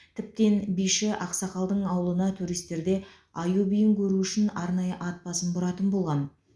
тіптен биші ақсақалдың ауылына туристерде аю биін көру үшін арнайы ат басын бұратын болған